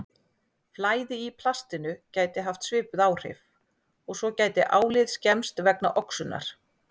Flæði í plastinu gæti haft svipuð áhrif og svo gæti álið skemmst vegna oxunar.